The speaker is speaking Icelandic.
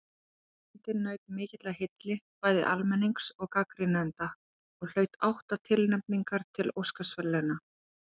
Myndin naut mikillar hylli bæði almennings og gagnrýnenda og hlaut átta tilnefningar til Óskarsverðlauna.